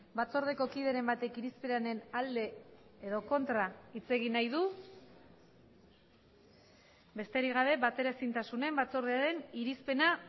batzordeko kideren batek irizpenaren alde edo kontra hitz egin nahi du besterik gabe bateraezintasunen batzordearen irizpena